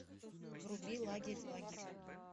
вруби лагерь лагерь